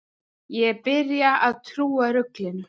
Ég byrja að trúa ruglinu.